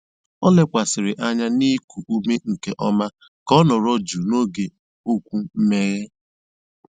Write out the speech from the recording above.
Ó lékwàsị̀rị́ ányá nà íkú úmé nkè ọ́má kà ọ́ nọ̀rọ̀ jụ́ụ́ n'ógé ókwú mmèghe.